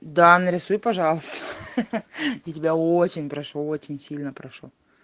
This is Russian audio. да нарисуй пожалуйста ха-ха я тебя очень прошу очень сильно прошу